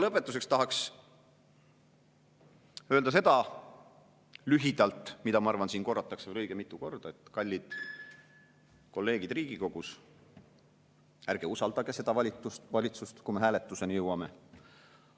Lõpetuseks tahaks öelda lühidalt seda, mida, ma arvan, korratakse siin veel õige mitu korda: kallid kolleegid Riigikogus, ärge usaldage seda valitsust, kui me hääletuseni jõuame!